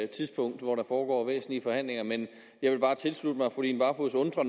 tidspunkt hvor der foregår nogle væsentlige forhandlinger men jeg vil bare tilslutte mig fru line barfod